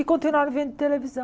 E continuaram vendo televisão.